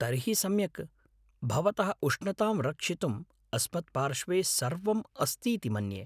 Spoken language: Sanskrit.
तर्हि सम्यक्। भवतः उष्णतां रक्षितुम् अस्मत्पार्श्वे सर्वं अस्तीति मन्ये।